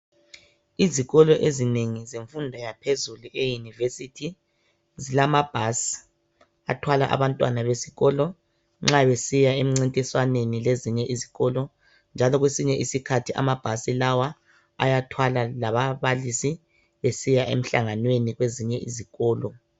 Izikolo ezinengi zemfundo yaphezulu euniversity. Zilamabhasi athwala abantwana besikolo nxa besiya emncintiswaneni lezinye izikolo njalo Kwesinye isikhathi amabhasi lawa ayathwala lababalisi besiya emhlanganweni lezinye izikolo.